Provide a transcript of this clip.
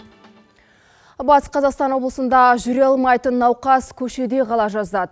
батыс қазақстан облысында жүре алмайтын науқас көшеде қала жаздады